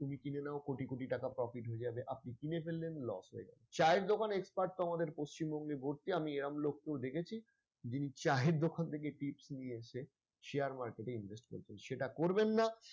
তুমি কিনে নাও কোটি কোটি টাকা profit হয়ে যাবে আপনি কিনে ফেললেন loss হয়ে গেল চায়ের দোকান expert তো আমাদের পশ্চিমবঙ্গে ভর্তি আমি এরাম লোককেও দেখেছি যিনি চায়ের দোকান থেকে tips নিয়ে এসে share market এ invest করছে সেটা করবেন না।